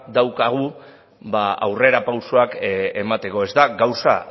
daukagu aurrera pausuak emateko ez da gauza